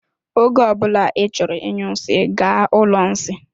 Oge ọbula I chọrọ ịnyụ nsị, gaa ụlọ nsị.